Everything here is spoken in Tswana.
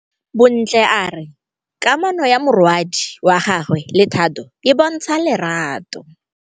Bontle a re kamanô ya morwadi wa gagwe le Thato e bontsha lerato.